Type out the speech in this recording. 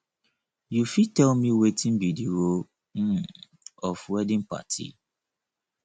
you fit tell me wetin be di role um of wedding party